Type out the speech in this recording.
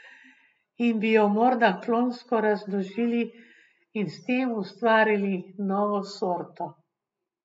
In bi jo morda klonsko razmnožili in s tem ustvarili novo sorto.